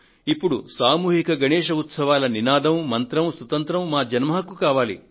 ఇప్పుడు సామూహిక గణేశ్ ఉత్సవాల నినాదం మంత్రం సుతంత్రం మా జన్మ హక్కు కావాలి